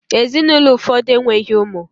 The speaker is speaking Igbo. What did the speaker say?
Ezinụlọ ụfọdụ enweghị ụmụ